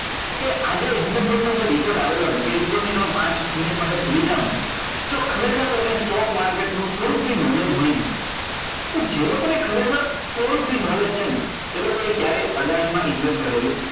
કે આજે એમનો જે report આવેલો છે એ report ને તમ, એ પાંચ minute માટે ભૂલી જાઓ ને જો ખરેખર તમને stock market નું થોડુક બી knowledge હોય ને તો જે લોકો ને ખરેખર થોડું બી knowledge છે ને એ લોકો એ ક્યારેય અદાણી માં invest કરેલું